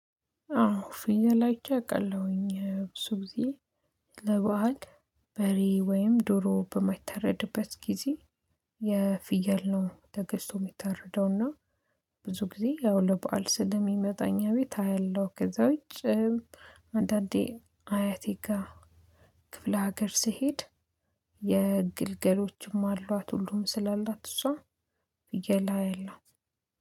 አዎ ፍየል አይቼ አቃለሁኝ ብዙ ጊዜ። ለባህል በሬ ወይም ዶሮ በማይታረድበት ጊዜ። የፍየል ነው ተገዝቶ የሚተረደው እና። ብዙ ጊዜ ያው ለበአል ስለሚመጣ አኛ ቤት አያለሁ ከዛ ውጪ። አንዳንዴ አያቴ ጋር። ክፍለ ሀገር ስሄድ። የግልገሎችም አሏት ሁሉም ስላላት እሷ ፍየል አያለው